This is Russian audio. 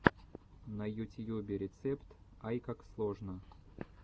на ютьюбе рецепт айкаксложно